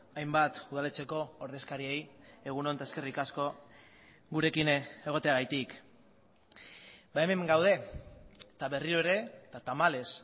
hainbat udaletxeko ordezkariei egun on eta eskerrik asko gurekin egoteagatik hemen gaude eta berriro ere eta tamalez